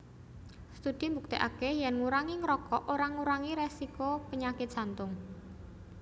Studi mbuktèkaké yèn ngurangi ngrokok ora ngurangi résiko penyakit Jantung